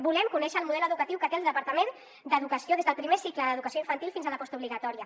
volem conèixer el model educatiu que té el departament d’educació des del primer cicle d’educació infantil fins a la postobligatòria